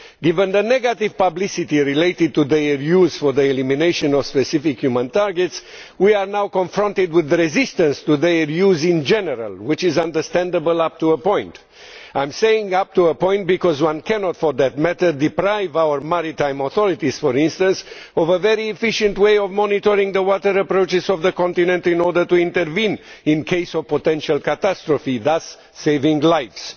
Given the negative publicity related to their use for the elimination of specific human targets, we are now confronted with resistance to their use in general, which is understandable up to a point. I am saying up to a point, because one cannot deprive our maritime authorities, for instance, of a very efficient way of monitoring the water approaches of the continent in order to intervene in the event of potential catastrophe, thus saving lives.